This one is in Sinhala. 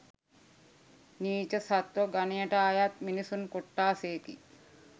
නීච සත්වගනයට අයත් මිනිසුන් කොට්ටාශයකි.